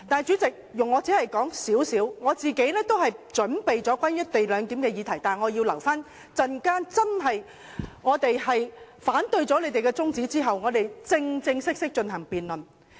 主席，我本身早已準備好討論"一地兩檢"的議題，但要留待稍後否決他們提出的中止待續議案後，我們才能正式辯論。